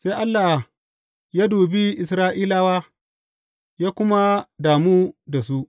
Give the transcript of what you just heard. Sai Allah ya dubi Isra’ilawa, ya kuma damu da su.